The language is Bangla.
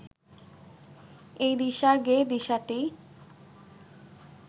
এই দিশার গেয়ে দিশাটি